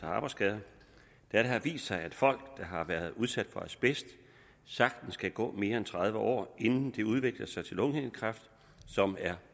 af arbejdsskader da det har vist sig at folk der har været udsat for asbest sagtens kan gå mere end tredive år inden det udvikler sig til lungehindekræft som er